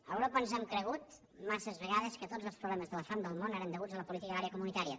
a europa ens hem cregut massa vegades que tots els problemes de la fam del món eren deguts a la política agrària comunitària